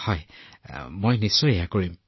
হয় মই নিশ্চিতভাৱে কৰিম